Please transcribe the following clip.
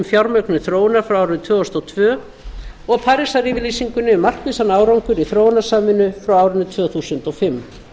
fjármögnun þróunar frá árinu tvö þúsund og tvö og parísar yfirlýsingunni um markvissan árangur í þróunarsamvinnu frá árinu tvö þúsund og fimm